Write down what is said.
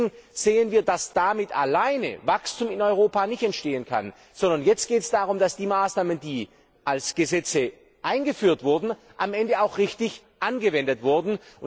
Und deswegen sehen wir, dass damit alleine kein Wachstum in Europa entstehen kann, sondern es jetzt darum geht, dass die Maßnahmen, die als Gesetze eingeführt wurden, am Ende auch richtig angewendet werden.